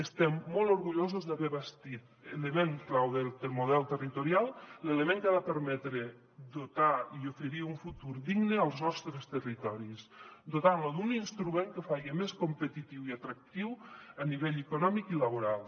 estem molt orgullosos d’haver bastit l’element clau del model territorial l’element que ha de permetre dotar i oferir un futur digne als nostres territoris dotant los d’un instrument que els faci més competitius i atractius a nivell econòmic i laboral